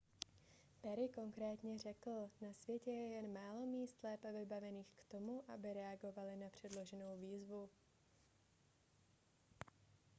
perry konkrétně řekl na světě je jen málo míst lépe vybavených k tomu aby reagovaly na předloženou výzvu